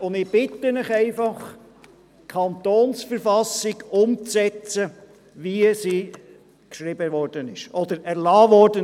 Ich bitte Sie nun, die KV so umzusetzen, wie sie vom Souverän erlassen wurde.